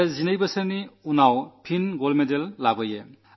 അതാണ് 12 വർഷത്തിനുശേഷം വീണ്ടും മെഡൽ നേടിയത്